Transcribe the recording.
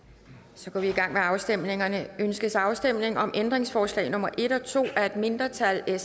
så går vi i gang med afstemningerne ønskes afstemning om ændringsforslag nummer en og to af et mindretal